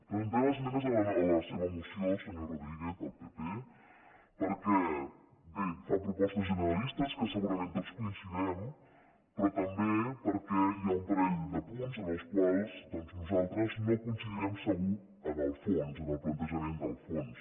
presentem esmenes a la seva moció senyor rodríguez del pp perquè bé fa propostes generalistes que segurament tot hi coincidirem però també perquè hi ha un parell de punts en els quals doncs nosaltres no coincidirem segur en el fons en el plantejament del fons